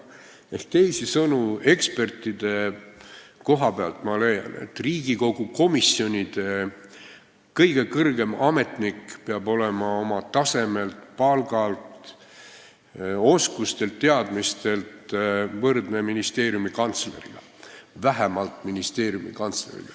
Teisisõnu, ekspertide koha pealt ma leian, et Riigikogu komisjonide kõige kõrgem ametnik peab olema oma tasemelt, palgalt, oskustelt ja teadmistelt võrdne ministeeriumi kantsleriga, vähemalt ministeeriumi kantsleriga.